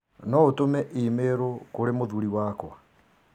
No ũtũme i-mīrū kũrĩ mũthuri wakwa?